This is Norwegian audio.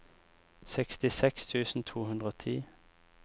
sekstiseks tusen to hundre og ti